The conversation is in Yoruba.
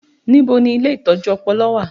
Ibo ni ilé ìtọ́jú ọpọlọ wà?